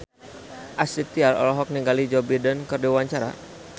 Astrid Tiar olohok ningali Joe Biden keur diwawancara